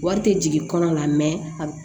Wari tɛ jigin kɔnɔ la a